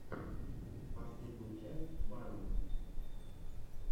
последняя часть барвины